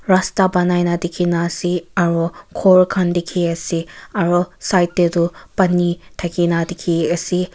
rasta banaina dekhina ase aro khor khan deki ase aro side te do pani thakina dekhi ase.